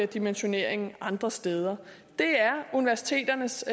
dimensioneringen andre steder det er universiteternes